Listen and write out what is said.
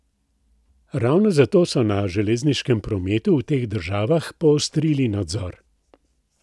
Ravno zato so na železniškem prometu v teh državah poostrili nadzor.